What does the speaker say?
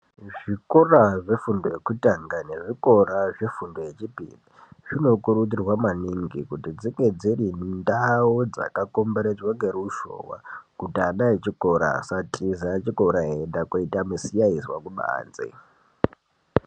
Muzvikora zvefundo yekutanga nezvikora zvefundo yechipiri zvinokurudzirwa maningi kuti dzinge dziri mundau dzakakomberedzwa neruzhowa kuti ana echikora asatiza chikora eienda koita misikanzwa kubva kubanze.